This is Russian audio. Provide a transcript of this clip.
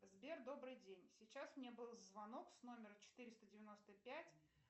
сбер добрый день сейчас мне был звонок с номера четыреста девяносто пять